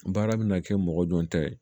Baara bɛna kɛ mɔgɔ dɔn tɛ